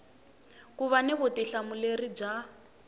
ku va ni vutihlamuleri bya